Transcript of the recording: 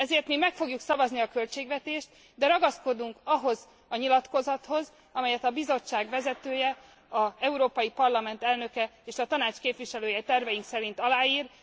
Ezért mi meg fogjuk szavazni a költségvetést, de ragaszkodunk ahhoz a nyilatkozathoz, amelyet a Bizottság vezetője, az Európai Parlament elnöke és a Tanács képviselője terveink szerint aláír.